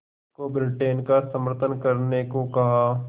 को ब्रिटेन का समर्थन करने को कहा